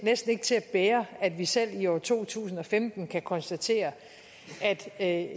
næsten ikke til at bære at vi selv i år to tusind og femten kan konstatere at